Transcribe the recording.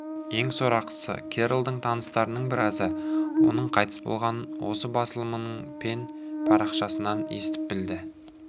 ең сорақысы керролдың таныстарының біразы оның қайтыс болғанын осы басылымының пен парақшасынан естіп білді